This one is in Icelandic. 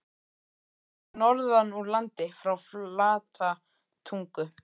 Ég kem norðan úr landi- frá Flatatungu.